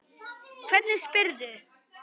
Hvernig spyrðu?